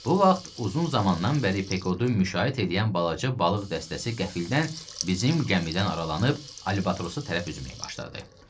Bu vaxt uzun zamandan bəri Pekodu müşayiət eləyən balaca balıq dəstəsi qəflətən bizim gəmidən aralanıb albatrosu tərəf üzməyə başladı.